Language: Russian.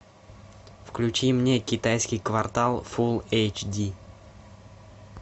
включи мне китайский квартал фулл эйч ди